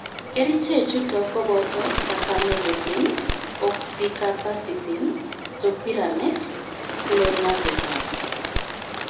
Kerichee chutok kopotoo kapamazepine ,oxikapasipine, topiramet, klonazepam,